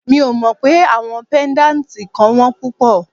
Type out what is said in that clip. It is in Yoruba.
Mi ò mọ pé àwọn pẹ́ndátì kan wón púpọ̀.